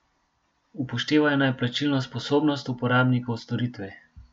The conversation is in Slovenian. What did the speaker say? Upoštevajo naj plačilno sposobnost uporabnikov storitve.